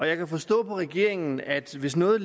jeg kan forstå på regeringen at hvis noget